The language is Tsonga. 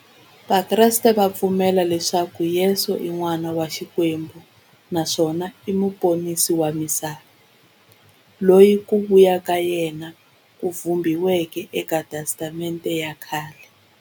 Vakreste va pfumela leswaku Yesu i n'wana wa Xikwembu naswona i muponisi wa misava, loyi ku vuya ka yena ku vhumbiweke eka Testamente ya khale.